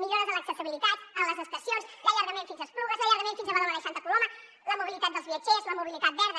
millores a l’accessibilitat a les estacions l’allargament fins a esplugues l’allargament fins a badalona i santa coloma la mobilitat dels viatgers la mobilitat verda